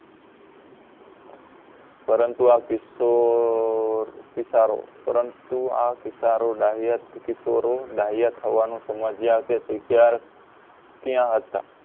પરંતુ આ કિશોર કિશારો પરંતુ આ કિશારો ડાહ્યા કિશોરો ડાહ્યા થવાનો સમજ્યા કે શીખ્યા ક્યાં હતા